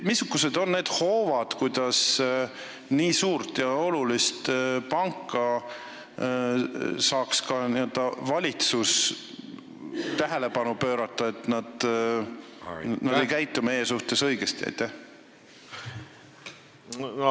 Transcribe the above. Missugused on need hoovad, kuidas nii suure ja olulise panga tähelepanu saaks ka valitsus juhtida sellele, et nad ei käitu meie suhtes õigesti?